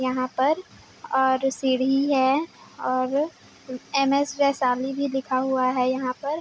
यहाँ पर और सीढ़ी है और एम. स वैशाली भी लिखा हुआ है यहाँ पर--